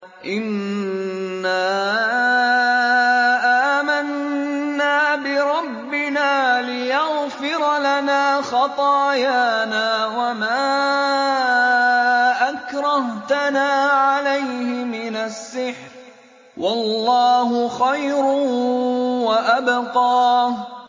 إِنَّا آمَنَّا بِرَبِّنَا لِيَغْفِرَ لَنَا خَطَايَانَا وَمَا أَكْرَهْتَنَا عَلَيْهِ مِنَ السِّحْرِ ۗ وَاللَّهُ خَيْرٌ وَأَبْقَىٰ